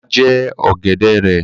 Bàbá jẹ ọ̀gẹ̀dẹ̀ rẹ